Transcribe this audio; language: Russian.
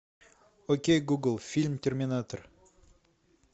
окей гугл фильм терминатор